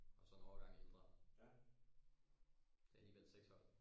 og så en årgang ældre det er alligevel seks hold